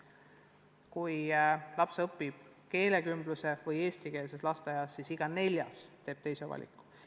Kui laps õpib keelekümblusega või eestikeelses lasteaias, siis iga neljas teeb sellise valiku.